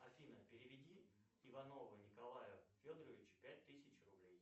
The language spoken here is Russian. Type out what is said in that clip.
афина переведи иванову николаю федоровичу пять тысяч рублей